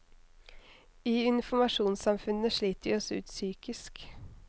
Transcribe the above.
I informasjonssamfunnet sliter vi oss ut psykisk.